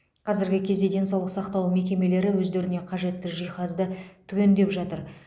қазіргі кезде денсаулық сақтау мекемелері өздеріне қажетті жиһазды түгендеп жатыр